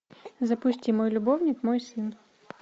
запусти мой любовник мой сын